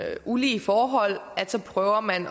ulige forhold prøver man